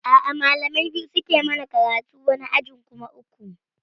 A'a malamai biyu suke yi mana karatu, wani ajin kuma uku